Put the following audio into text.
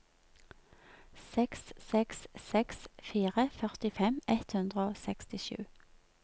seks seks seks fire førtifem ett hundre og sekstisju